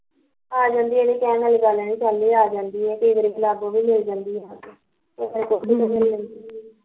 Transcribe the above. ਆ ਜਾਂਦੀਆ ਨੀ ਕਹਿਣ ਆਲੀ ਗੱਲ ਨੀ ਆ ਸੋਨੀ ਆ ਜਾਂਦੀ ਆ ਤੇ ਕਈ ਵਾਰ ਗੁਲਾਬੋ ਵੀ ਮਿਲ ਜਾਂਦੀ ਆ ਕੇ